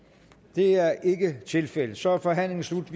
det er ikke tilfældet så er forhandlingen slut